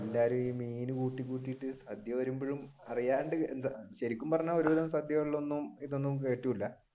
എല്ലാരും ഈ മീൻ കൂട്ടി കൂട്ടിട്ട് സദ്യ വഴുമ്പോഴും അറിയാൻഡ് ശരിക്കും പറഞ്ഞ ഒരു തരം സദ്യയിൽ ഇതൊന്നും കേട്ടൂല